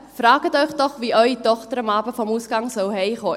Fragen Sie sich doch, wie Ihre Tochter am Abend vom Ausgang heimkommen soll: